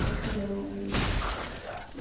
Para o fim da minha vida.